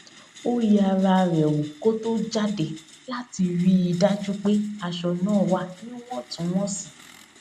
ó yẹ ara rè wò kó tó jáde láti rí i dájú pé aṣọ náà wà níwòntúnwònsì